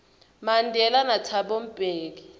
mandela nathabo mbeki